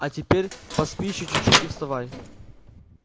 а теперь поспи ещё чутьчуть и вставай